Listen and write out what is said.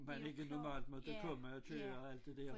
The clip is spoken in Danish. Man ikke normalt måtte komme og køre og alt det der